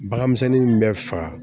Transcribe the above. Bagan misɛnnin bɛ fa